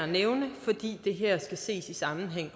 nævne fordi det her også skal ses i sammenhæng